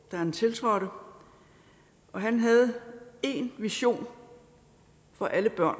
han tiltrådte og han havde én vision for alle børn